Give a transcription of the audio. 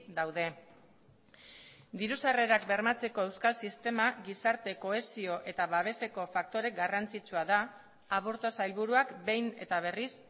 daude diru sarrerak bermatzeko euskal sistema gizarte kohesio eta babeseko faktore garrantzitsua da aburto sailburuak behin eta berriz